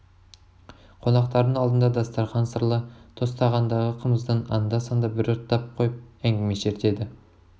қонақтардың алдында дастархан сырлы тостағандағы қымыздан анда-санда бір ұрттап қойып әңгіме шертеді